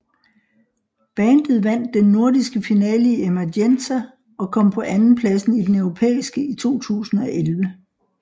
Bandet vandt den nordiske finale i Emergenza og kom på anden pladsen i den europæiske i 2011